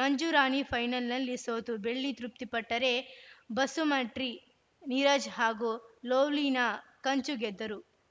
ಮಂಜು ರಾಣಿ ಫೈನಲ್‌ನಲ್ಲಿ ಸೋತು ಬೆಳ್ಳಿಗೆ ತೃಪ್ತಿಪಟ್ಟರೆ ಬಸುಮಟ್ರಿ ನೀರಜ್‌ ಹಾಗೂ ಲೊವ್ಲಿನಾ ಕಂಚು ಗೆದ್ದರು